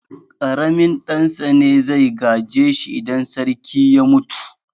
Ƙaramin ɗan sa ne zai gaje shi idan sarki ya mutu.